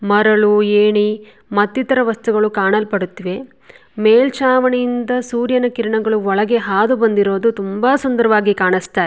ಮರಳು ಏಣಿ ಮತ್ ಇತರ ವಸ್ತುಗಳು ಕಾಣಲ್ಪಡುತ್ತಿವೆ ಮೇಲ್ಚಾವಣಿಯಿಂದ ಸೂರ್ಯನ ಕಿರಣಗಳು ಒಳಗೆ ಹಾದು ಬಂದಿರುವುದು ತುಂಬಾ ಸುಂದರವಾಗಿ ಕಾಣಿಸುತ್ತಾ ಇ --